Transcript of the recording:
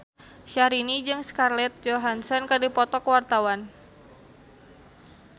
Syahrini jeung Scarlett Johansson keur dipoto ku wartawan